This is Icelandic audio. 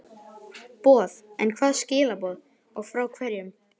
boð, en hvaða skilaboð og frá hverjum?